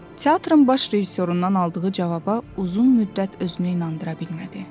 Teatrın baş rejissorundan aldığı cavaba uzun müddət özünü inandıra bilmədi.